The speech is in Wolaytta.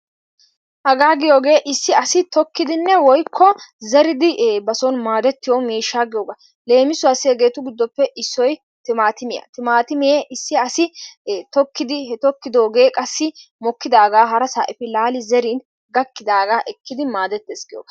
Hagaa giyoogee issi asi tookkidinne woykko zeeridi ba soon maaddetiyoo miishsha giyooga. Leemisuwaasi hegeetu giddoppe issoy timaatimiyaa. Timaatimee issi asi tokkidi he tokkidoogee qassi mokkidaagaa hara efi zeerin gaakkidaagaa ekki maadesttees giyoogaa.